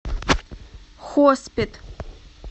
хоспет